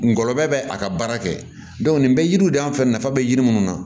Ngɔlɔbɛ bɛ a ka baara kɛ nin bɛ yiriw de an fɛ nafa bɛ yiri munnu na